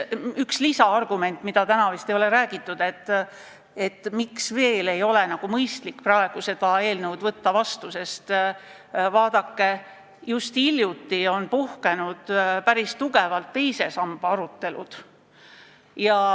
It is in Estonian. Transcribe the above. Üks argument, miks veel ei ole mõistlik seda eelnõu seadusena vastu võtta – seda ei ole vist täna märgitud –, on see, et alles hiljuti puhkesid päris ägedad arutelud teise samba üle.